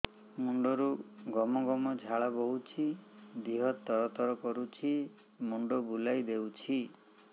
ମୁଣ୍ଡରୁ ଗମ ଗମ ଝାଳ ବହୁଛି ଦିହ ତର ତର କରୁଛି ମୁଣ୍ଡ ବୁଲାଇ ଦେଉଛି